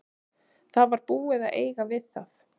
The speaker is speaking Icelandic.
Það var búið að eiga við það.